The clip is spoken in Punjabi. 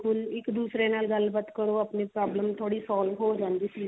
ਇੱਕ ਦੂਸਰੇ ਨਾਲ ਗੱਲ ਬਾਤ ਕਰੋ ਆਪਣੀ problem ਜਿਹੜੀ ਸੋਲਵੇ ਜਾਂਦੀ